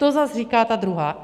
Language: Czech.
To zas říká ta druhá.